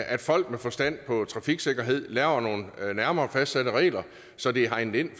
at folk med forstand på trafiksikkerhed laver nogle nærmere fastsatte regler så det er hegnet ind